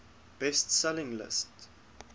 best selling list